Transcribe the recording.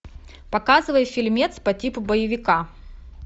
показывай фильмец по типу боевика